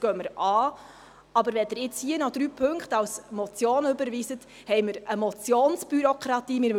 Wenn Sie nun aber noch diese drei Punkte der Motion überweisen, haben wir eine Motionsbürokratie.